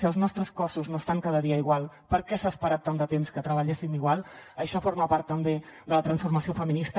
si els nostres cossos no estan cada dia igual per què s’ha esperat tant de temps que treballéssim igual això forma part també de la transformació feminista